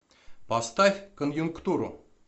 поставь конъюнктуру